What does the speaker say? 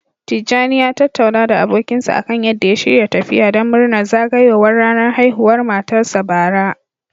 Tijani ya tattauna da abokinsa akan yadda ya shirya tafiya don murnar zagayowar ranar haihuwar matarsa, bara.